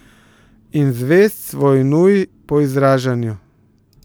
In zvest svoji nuji po izražanju.